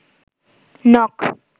নখ